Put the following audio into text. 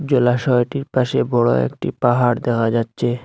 জলাশয়টির পাশে বড় একটি পাহাড় দেখা যাচ্ছে।